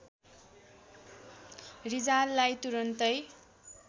रिजाललाई तुरुन्तै